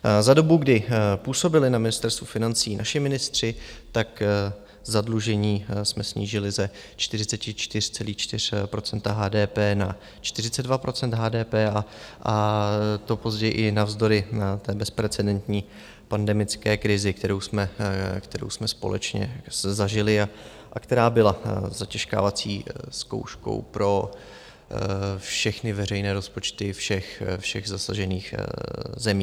Za dobu, kdy působili na Ministerstvu financí naši ministři, tak zadlužení jsme snížili ze 44,4 % HDP na 42 % HDP, a to později i navzdory té bezprecedentní pandemické krizi, kterou jsme společně zažili a která byla zatěžkávací zkouškou pro všechny veřejné rozpočty všech zasažených zemí.